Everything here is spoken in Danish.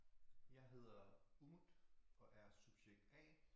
Jeg hedder Umut og er subjekt A